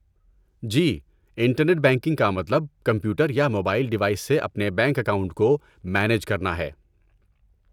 جی، internet banking کا مطلب computer یا موبائل ڈیوائس سے اپنے بینک اکاؤنٹ کو مینیج کرنا ہے۔